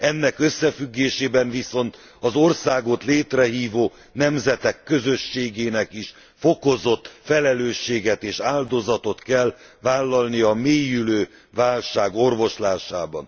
Ennek összefüggésében viszont az országot létrehívó nemzetek közösségének is fokozott felelősséget és áldozatot kell vállalnia a mélyülő válság orvoslásában.